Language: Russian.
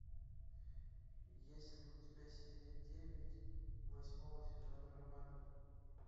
есть ли у тебя серия девять восьмого сезона романовы